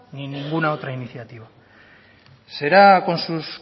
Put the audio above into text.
ni en ninguna otra iniciativa será con sus